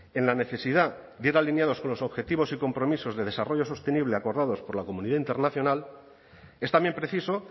en la necesidad de ir alineados con los objetivos y compromisos de desarrollo sostenible acordados por la comunidad internacional es también preciso